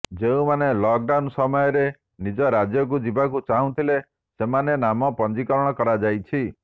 ଯେଉଁମାନେ lockdown ସମୟରେ ନିଜ ରାଜ୍ୟକୁ ଯିବାକୁ ଚାହୁଁଥିଲେ ସେମାନଙ୍କ ନାମ ପଞ୍ଜିକରଣ କରାଯାଇଛି